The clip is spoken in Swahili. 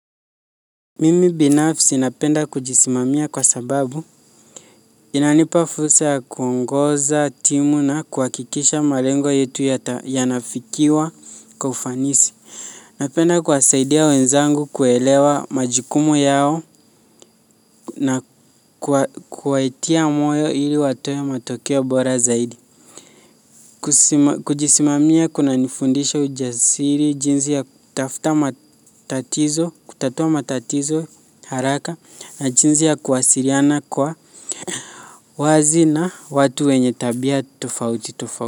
Mimi binafsi napenda kujisimamia kwa sababu, inanipa fursa ya kuongoza timu na kuhakikisha malengo yetu yanafikiwa kwa ufanisi. Napenda kuwasaidia wenzangu kuelewa majukumu yao na kuwaitia moyo ili watoe matokeo bora zaidi. Kujisimamia kunanifundisha ujasiri jinsi ya kutatua matatizo haraka na jinsi ya kuwasiliana kwa wazi na watu wenye tabia tofauti tofauti.